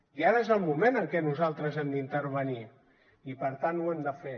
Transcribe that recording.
i ara és el moment en que nosaltres hem d’intervenir i per tant ho hem de fer